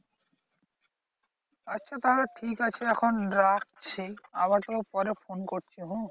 আচ্ছা তাহলে ঠিকাছে এখন রাখছি আবার তোকে পরে ফোন করছি হম